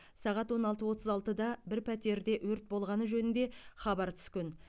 сағат он алты отыз алтыда бір пәтерде өрт болғаны жөнінде хабар түскен